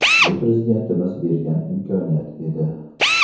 Bu Prezidentimiz bergan imkoniyat edi.